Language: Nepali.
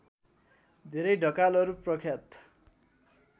धेरै ढकालहरू प्रख्यात